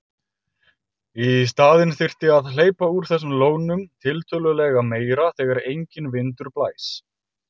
Í staðinn þyrfti að hleypa úr þessum lónum tiltölulega meira þegar enginn vindur blæs.